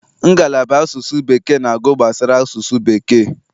Ngala asụsụ Bekee na-agụ gbasara asụsụ bekee.